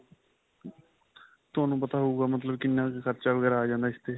ਤੁਹਾਨੂੰ ਪਤਾ ਹੋਉਗਾ ਮਤਲਬ ਕਿੰਨਾ ਕ ਖਰਚਾ ਵਗੈਰਾ ਆ ਜਾਂਦਾ ਇਸਤੇ?